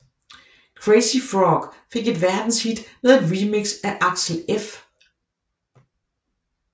Crazy Frog fik et verdenshit med et remix af Axel F